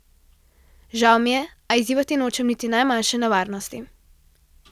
Žal mi je, a izzivati nočem niti najmanjše nevarnosti.